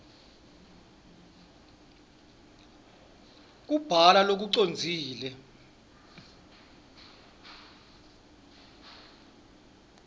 kubhala lokucondzile